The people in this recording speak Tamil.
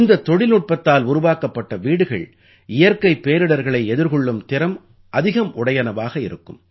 இந்தத் தொழில்நுட்பத்தால் உருவாக்கப்பட்ட வீடுகள் இயற்கைப் பேரிடர்களை எதிர்கொள்ளும் திறம் அதிகம் உடையனவாக இருக்கும்